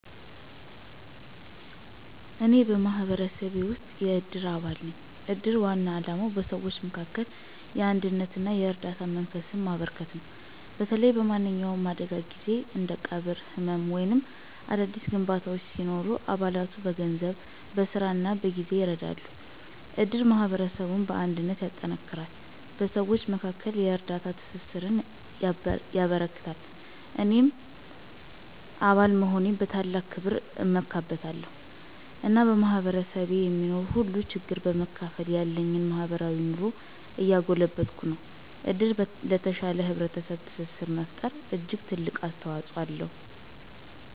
እኔ በማህበረሰቤ ውስጥ የእድር አባል ነኝ። የእድር ዋና ዓላማ በሰዎች መካከል የአንድነትና የእርዳታ መንፈስን ማበረከት ነው። በተለይ በማንኛውም አደጋ ጊዜ እንደ ቀብር፣ ሕመም ወይም አዳዲስ ግንባታዎች ሲኖሩ አባላቱ በገንዘብ፣ በሥራ እና በጊዜ ይረዳሉ። እድር ማህበረሰቡን በአንድነት ያጠነክራል፣ በሰዎች መካከል የእርዳታ ትስስርን ያበረክታል። እኔም አባል መሆኔን በታላቅ ክብር እመለከታለሁ፣ እና በማህበረሰቤ የሚኖር ሁሉንም ችግር በመካፈል ያለኝን ማህበራዊ ኑሮ እያጎለበትኩ ነው። እድር ለተሻለ ህብረተሰብ ትስስር መፈጠር እጅግ ትልቅ አስተዋፅኦ አለው።